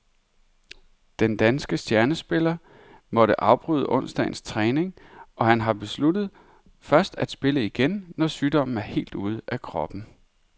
Den danske stjernespiller måtte afbryde onsdagens træning, og han har besluttet først at spille igen, når sygdommen er helt ude af kroppen.